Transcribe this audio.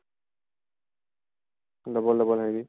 লগৰ লগৰ হেৰি